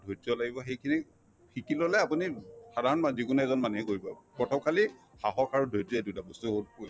ধৈৰ্য্য লাগিব সেইখিনি শিকি ললে আপুনি সাধাৰণ মানুহে যিকোনো এজন মানুহে কৰিব সাহস আৰু ধৈৰ্য্য এই দুটা বস্তু